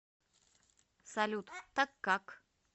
салют так как